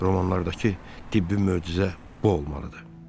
Romanlardakı tibbi möcüzə də bu olmalı idi.